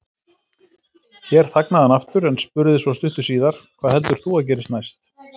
Hér þagnaði hann aftur, en spurði svo stuttu síðar: Hvað heldur þú að gerist næst?